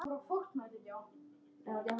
Reynir tregaði þau bæði.